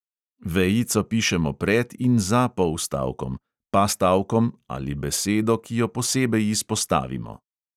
Vejico pišemo pred in za polstavkom, pastavkom ali besedo, ki jo posebej izpostavimo.